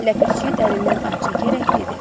Ləpəçi dərindən ah çəkərək dedi: